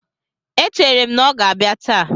E chere m na ọ ga-abịa taa.